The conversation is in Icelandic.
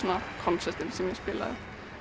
konsertinn sem ég spilaði